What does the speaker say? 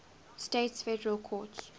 states federal courts